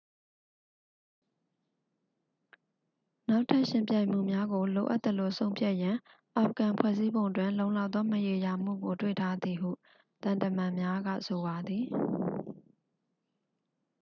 နောက်ထပ် ယှဉ်ပြိုင်မှုများကို လိုအပ်သလို ဆုံးဖြတ်ရန် အာဖဂန် ဖွဲ့စည်းပုံတွင် လုံလောက်သော မရေရာမှုကို တွေ့ထားသည်ဟု သံတမန်များက ဆိုပါသည်